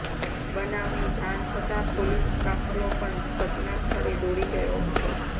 બનાવની જાણ થતા પોલીસકાફલો પણ ઘટનાસ્થળે દોડી ગયો હતો